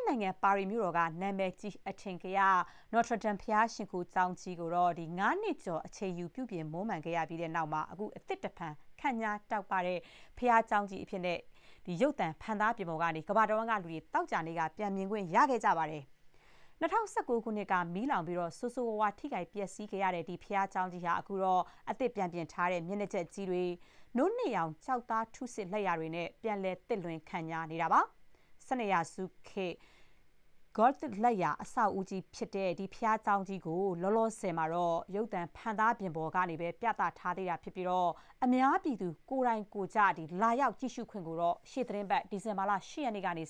စ်နိုင်ငံ ပါရီမြို့တော်က နာမည်ကြီး အထင်ကရ Notre Dame ဘုရားရှိခိုးကျောင်းကြီးကို ၅ နှစ်ကျော် အချိန်ယူ ပြုပြင် မွမ်းမံခဲ့ပြီးတဲ့နောက် အသစ်တဖန် ခန့်ညားတောက်ပနေတဲ့ ဘုရားကျောင်းကြီးကို ရုပ်သံ ဖန်သားပြင်ပေါ် ကနေ ကမ္ဘာတဝန်းကလူတွေ သောကြာနေ့က ပြန်မြင်ခွင့်ရခဲ့ပါတယ်။ ၂၀၁၉ ခုနှစ်က မီးလောင်ပြီး ဆိုးဆိုးရွားရွား ထိခိုက် ပျက်ဆီးခဲ့ရတဲ့ ဒီဘုရားကျောင်းကြီးဟာ အခုတော့ အသစ် ပြန်ပြင်ထားတဲ့ မျက်နှာကျက်ကြီးတွေ၊ နို့နှစ်ရောင် ကျောက်သားထုဆစ် လက်ရာတွေနဲ့ ပြန်လည် သစ်လွင် ခန့်ညားနေတာပါ။ ၁၂ ရာစုနှစ်ခေတ် Gothic လက်ရာ အဆောက်အဦးကြီးဖြစ်တဲ့ ဒီ ဘုရားကျောင်းကြီးကို လောလောဆယ်မှာတော့ ရုပ်သံ ဖန်သားပြင်ပေါ်ကနေပဲ ပြသထားသေးပြီး အများပြည်သူ ကိုယ်တိုင်ကိုယ်ကျ လာရောက် ကြည့်ရှုခွင့်ကိုတော့ ရှေ့သီတင်းပတ် ဒီဇင်ဘာလ ၈ ရက်နေ့ကစပြီး